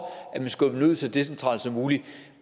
at man skubbede så decentralt som muligt